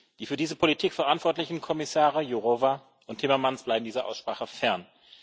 Die für diese Politik verantwortlichen Kommissare Jourová und Timmermans bleiben dieser Aussprache fern.